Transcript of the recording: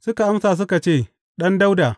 Suka amsa suka ce, Ɗan Dawuda.